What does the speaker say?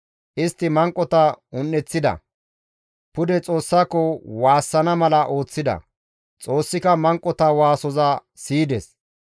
Istti manqota un7eththida; pude Xoossako waassana mala ooththida. Xoossika manqota waasoza siyides.